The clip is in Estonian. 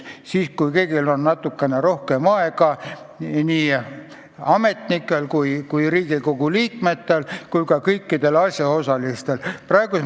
Siis on kõigil natukene rohkem aega – nii ametnikel kui Riigikogu liikmetel kui ka kõikidel asjaosalistel.